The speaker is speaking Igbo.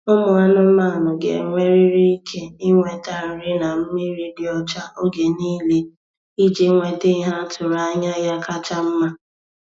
Ụmụ anụmanụ ga-enwerịrị ike ịnweta nri na mmiri dị ọcha oge niile iji nwete ihe atụrụ anya ya kacha mma.